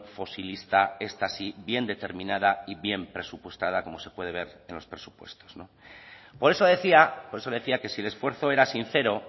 fosilista esta sí bien determinada y bien presupuestada como se puede ver en los presupuestos por eso decía por eso le decía que si el esfuerzo era sincero